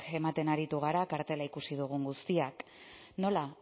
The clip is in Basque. ematen ari gara kartela ikusi dugun guztiak nola